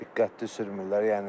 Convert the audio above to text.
Diqqətli sürmürlər yəni.